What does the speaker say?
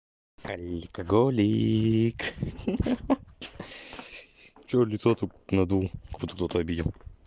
алкоголик что лицо тут надул кто-то обидел